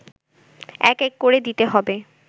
এক এক করে দিতে হবে